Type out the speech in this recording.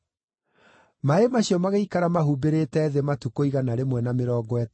Maaĩ macio magĩikara mahumbĩrĩte thĩ matukũ igana rĩmwe na mĩrongo ĩtano.